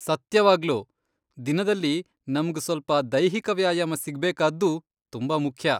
ಸತ್ಯವಾಗ್ಲೂ, ದಿನದಲ್ಲಿ ನಮ್ಗ್ ಸ್ವಲ್ಪ ದೈಹಿಕ ವ್ಯಾಯಾಮ ಸಿಗ್ಬೇಕಾದ್ದೂ ತುಂಬಾ ಮುಖ್ಯ.